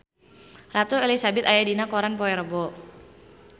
Ratu Elizabeth aya dina koran poe Rebo